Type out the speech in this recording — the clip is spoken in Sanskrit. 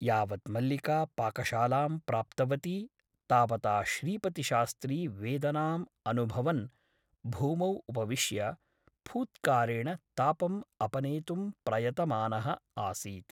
यावत् मल्लिका पाकशालां प्राप्तवती तावता श्रीपतिशास्त्री वेदनाम् अनुभवन् भूमौ उपविश्य फूत्कारेण तापम् अपनेतुं प्रयतमानः आसीत् ।